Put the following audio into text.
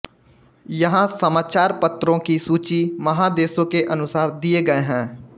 यहां समाचारपत्रों की सूची महादेशों के अनुसार दिए गए हैं